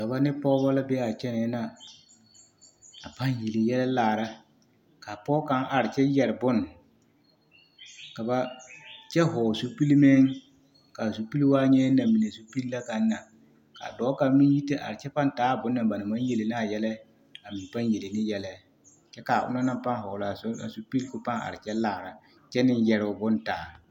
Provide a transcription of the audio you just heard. Dɔbɔ ne pɔɡebɔ la be a kyɛnɛɛ na a paŋ yele yɛlɛ laara ka a pɔɡe kaŋ are kyɛ yɛre bon kyɛ hɔɔle zupili meŋ ka a zupili waa nyɛ namine zupili na kaŋ na ka dɔɔ kaŋ meŋ yi te are kyɛ paŋ taa a bone na ba na maŋ yele ne a yɛlɛ a meŋ paŋ yele ne yɛlɛ kyɛ ka ona na hɔɔle a zupili ka o paŋ are kyɛ laara kyɛ ne yɛre o bon taa.